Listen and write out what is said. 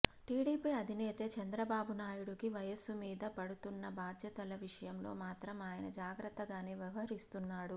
TDP అధినేతే చంద్రబాబు నాయుడు కి వయస్సు మీద పడుతున్నా బాధ్యతల విషయంలో మాత్రం ఆయన జాగ్రత్తగానే వ్యవహరిస్తున్నాడు